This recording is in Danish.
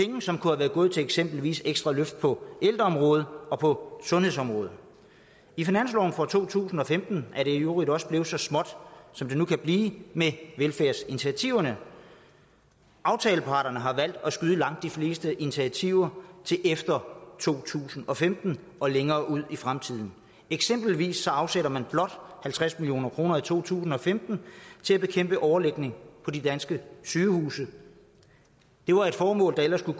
som kunne være gået til eksempelvis ekstra løft på ældreområdet og på sundhedsområdet i finansloven for to tusind og femten er det i øvrigt også blevet så småt som det nu kan blive med velfærdsinitiativerne aftaleparterne har valgt at skyde langt de fleste initiativer til efter to tusind og femten og længere ud i fremtiden eksempelvis afsætter man blot halvtreds million kroner i to tusind og femten til at bekæmpe overbelægning på de danske sygehuse det var et formål der ellers skulle